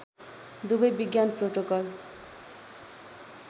दुवै विज्ञान प्रोटोकल